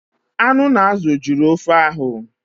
Anụ na azụ jụrụ ofe ahụ